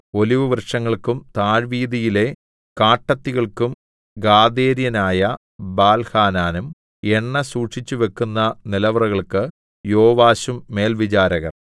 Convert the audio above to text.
ഒലിവുവൃക്ഷങ്ങൾക്കും താഴ്വീതിയിലെ കാട്ടത്തികൾക്കും ഗാദേര്യനായ ബാൽഹാനാനും എണ്ണ സൂക്ഷിച്ചുവെക്കുന്ന നിലവറകൾക്ക് യോവാശും മേൽവിചാരകർ